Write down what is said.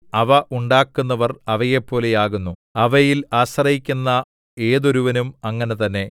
അവ ഉണ്ടാക്കുന്നവർ അവയെപ്പോലെയാകുന്നു അവയിൽ ആശ്രയിക്കുന്ന ഏതൊരുവനും അങ്ങനെ തന്നെ